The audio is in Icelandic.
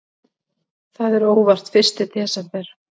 Það er óvart fyrsti desember.